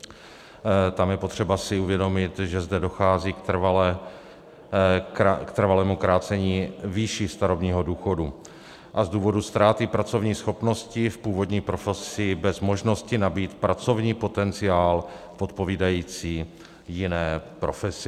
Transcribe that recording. Tam je potřeba si uvědomit, že zde dochází k trvalému krácení výše starobního důchodu a z důvodu ztráty pracovní schopnosti v původní profesi bez možnosti nabýt pracovní potenciál odpovídající jiné profesi.